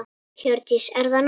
Hjördís: Er það nóg?